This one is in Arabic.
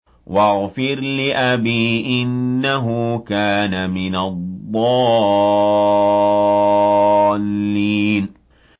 وَاغْفِرْ لِأَبِي إِنَّهُ كَانَ مِنَ الضَّالِّينَ